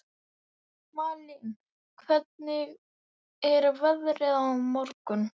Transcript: Malín, hvernig er veðrið á morgun?